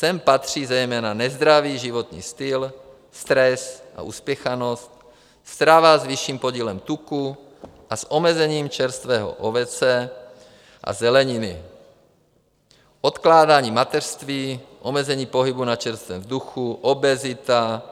Sem patří zejména nezdravý životní styl, stres a uspěchanost, strava s vyšším podílem tuku a s omezením čerstvého ovoce a zeleniny, odkládání mateřství, omezení pohybu na čerstvém vzduchu, obezita,